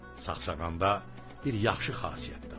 Sağsağanda bir yaxşı xasiyyət də var.